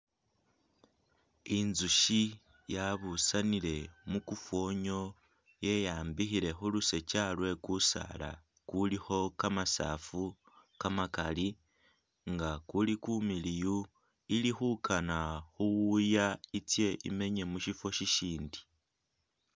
Inzushi yabusanile mukufonyo yeyambikhile khulusokya lwe kusaala kulikho kama saafu kamakali nga kuli kumiliyu ili khukana khuwuya itsye imenye mushifo shishindi